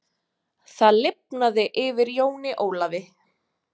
Það lifnaði yfir Jóni Ólafi.